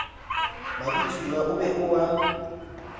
mabitsoao o be o a